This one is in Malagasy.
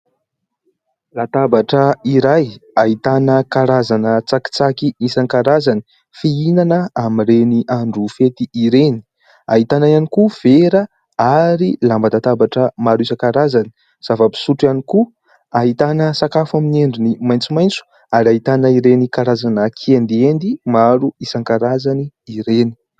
Latabatra iray ahitana karazana tsakitsaky isankarazany, fihinana amin'ireny andro fety ireny ; ahitana ihany koa vera ary lamban-databatra maro isankarazany ; zava-pisotro ihany koa ; ahitana sakafo amin'ny endriny maitsomaitso ; ary ahitana ireny karazana kiendiendy maro isankarazany ireny.